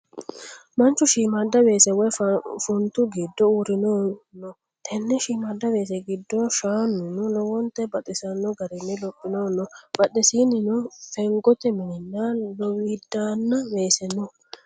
Manchu shiimmada weese woyi funtu giddo uurrinohu no. Tenne shiimmada weese giddo shaanuno lowonta baxisanno garinni lophinohu no. Badheesinnino fengote mininna lowidaanna weeseno no.